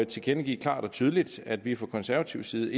tilkendegive klart og tydeligt at vi fra konservativ side